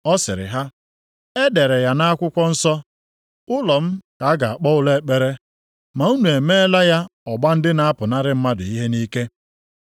Ọ sịrị ha, “E dere ya nʼakwụkwọ nsọ, ‘Ụlọ m ka a ga-akpọ ụlọ ekpere,’ + 21:13 \+xt Aịz 56:7\+xt* ma unu emeela ya ‘ọgba ndị na-apụnarị mmadụ ihe nʼike.’ + 21:13 \+xt Jer 7:11\+xt* ”